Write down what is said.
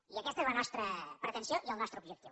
i aquesta és la nostra pretensió i el nostre objectiu